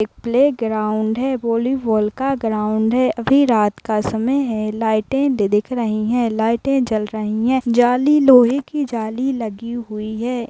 एक play ground है volleyball का ग्राउंड है अभी रात का समय है लाइटें दिख रही है लाइटें जल रही है जाली लोहे की जाली लगी हुई है।